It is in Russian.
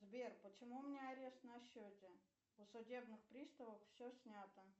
сбер почему у меня арест на счете у судебных приставов все снято